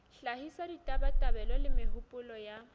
hlahisa ditabatabelo le mehopolo ya